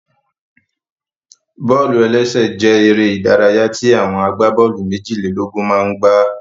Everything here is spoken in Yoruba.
Bọ́ọ̀lù-ẹlẹ́sẹ̀ jẹ́ eré ìdárayá tí àwọn agbábọ́ọ̀lù méjìlélógún máa n gbá